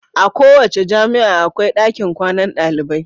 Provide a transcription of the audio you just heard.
A kowace jami'a akwai ɗakin kwanan dalibai.